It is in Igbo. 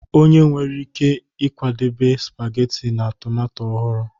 Onye nwere ike ịkwadebe spageti na tomato ọhụrụ